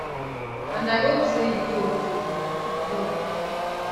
and i hope say e dey ok e tok